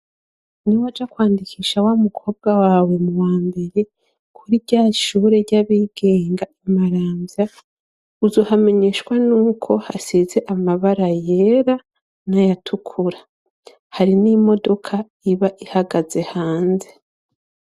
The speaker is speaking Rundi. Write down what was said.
Niwaja kwandikisha wa mukobwa wawe mu wa mbere kuri ryashure ry'abigenga imaramvya uzohamenyeshwa nuko hasize amabara yera nayatukura hari n'imodoka iba ihagaze hanze.